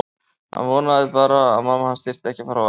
Hann vonaði bara að mamma hans þyrfti ekki að fara á vakt.